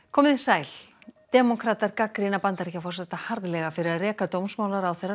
komið þið sæl demókratar gagnrýna Bandaríkjaforseta harðlega fyrir að reka dómsmálaráðherra